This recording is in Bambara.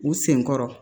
U sen kɔrɔ